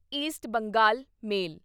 East Bengal ਮੇਲ